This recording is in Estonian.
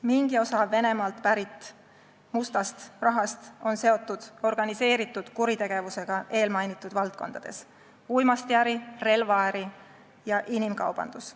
Mingi osa Venemaalt pärit mustast rahast on seotud organiseeritud kuritegevusega eelmainitud valdkondades: uimastiäri, relvaäri ja inimkaubandus.